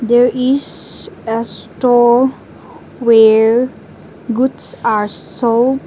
there is a store where boots are sold.